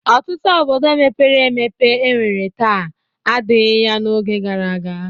Ọtụtụ obodo mepere emepe e nwere taa adịghị ya n'oge gara aga.